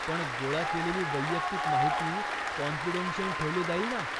पण गोळा केलेली वैयक्तिक माहिती काॅन्फिडेन्शियल ठेवली जाईल ना?